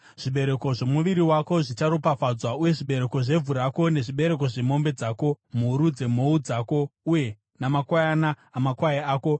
Zvibereko zvomuviri wako zvicharopafadzwa, uye zvibereko zvevhu rako nezvibereko zvemombe dzako, mhuru dzemhou dzako uye namakwayana amakwai ako.